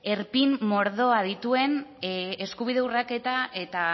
erpin mordoa dituen eskubide urraketa eta